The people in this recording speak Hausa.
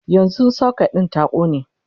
yanzun socket din ta ƙone